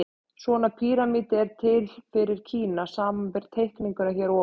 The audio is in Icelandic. Svona píramídi er til fyrir Kína, samanber teikninguna hér að ofan.